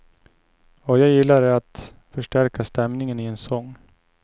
Vad jag gillar är att förstärka stämningen i en sång.